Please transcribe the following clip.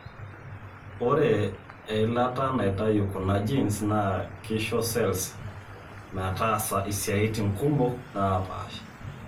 ore eilata naitayu kuna genes naa kisho cells metaasa isaitin kumok naapaasha.